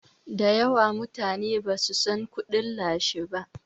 dayawa mutane ba su San kudin lashi ba